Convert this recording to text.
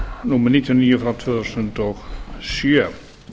númer níutíu og níu tvö þúsund og sjö